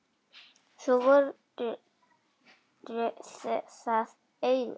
Svo voru það augun.